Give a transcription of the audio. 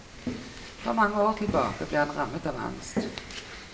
For mange år tilbake ble han rammet av angst.